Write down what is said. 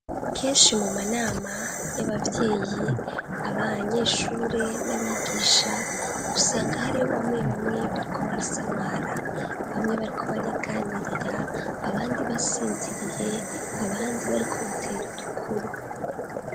Kenshi mu manama y'abavyeyi ,abanyeshure n'abigisha usanga hari ho bamwe bamwe bariko barasamara, bamwe bariko bariganirira abandi basinziriye ,abandi bariko batera udukuru.